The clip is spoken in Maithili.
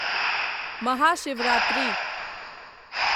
महाशिवरात्रि